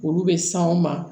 Olu bɛ san u ma